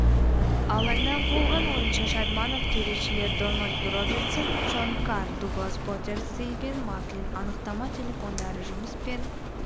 алаңнан қуылған ойыншы шадманов төрешілер дональд робертсон шон карр дуглас поттер стивен маклин анықтама телефондары жұмыспен